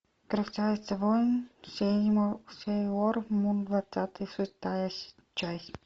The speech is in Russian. красавица воин сейлормун двадцатый шестая часть